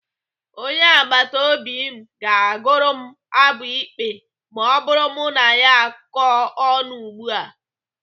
Onye agbataobi m ga-agụrụ m abụ ikpe ma mụ na ya kọọ ọnụ ugbu a.